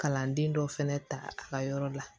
Kalanden dɔ fɛnɛ ta a ka yɔrɔ la